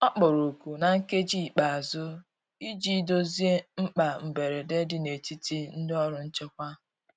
Ọ kpọrọ oku na nkeji ikpeazu ịjị dozie mkpa mgberede di n'etiti ndi ọrụ nchekwa